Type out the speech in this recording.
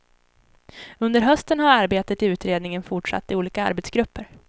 Under hösten har arbetet i utredningen fortsatt i olika arbetsgrupper.